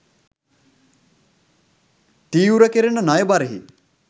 තීව්‍ර කෙරෙන ණය බරෙහි